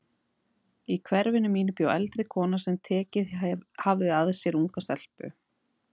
Í hverfinu mínu bjó eldri kona sem tekið hafði að sér unga stelpu.